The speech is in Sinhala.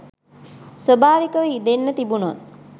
ස්වාභාවිකව ඉදෙන්න තිබුනොත්